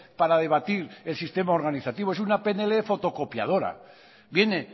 para debatir el sistema organizativo es una pnl fotocopiadora viene